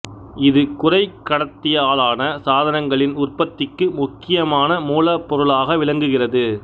இது குறைக் கடத்தியாலான சாதனங்களின் உற்பத்திக்கு முக்கியமான மூலப் பொருளாக விளங்குகிறது